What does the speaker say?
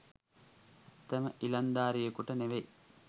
ඇත්තම ඉලංදාරියකුට නෙමෙයි.